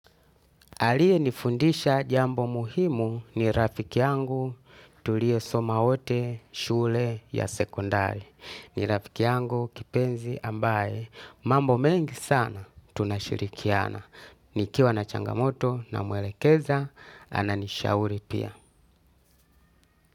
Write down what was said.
Aliyenifundisha jambo muhimu ni rafiki yangu tuliyesoma wote shule ya sekondari. Ni rafiki yangu kipenzi ambaye mambo mengi sana tunashirikiana. Nikiwa na changamoto namwelekeza ananishauri pia.